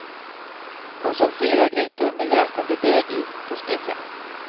Hon såg fyra grytor med jäsande deg i på spisen.